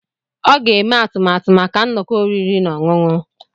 Ọ ga-eme atụmatụ maka nnọkọ oriri na ọṅụṅụ ha.